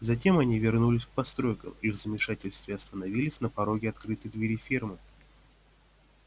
затем они вернулись к постройкам и в замешательстве остановились на пороге открытой двери фермы